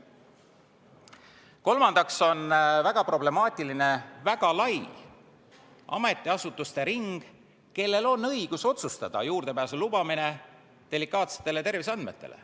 Kolmandaks on väga problemaatiline see väga lai ametiasutuste ring, kellel on õigus otsustada juurdepääsu lubamise üle delikaatsetele terviseandmetele.